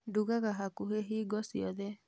ndugaga hakuhĩ hingo ciothe